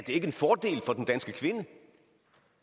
ikke en fordel for den danske kvinde